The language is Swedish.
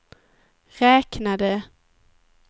räknade